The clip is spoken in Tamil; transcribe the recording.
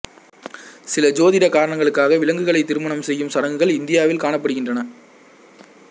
சில ஜோதிட காரணங்களுக்காக விலங்குகளைத் திருமணம் செய்யும் சடங்குகள் இந்தியாவில் காணப்படுகின்றன